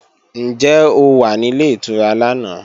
Ǹjẹ́ o wà nílé ìtura lánàá?